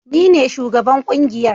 Ni ne shugaban kungiyar